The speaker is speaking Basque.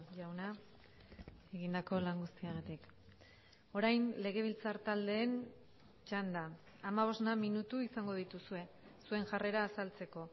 jauna egindako lan guztiagatik orain legebiltzar taldeen txanda hamabosna minutu izango dituzue zuen jarrera azaltzeko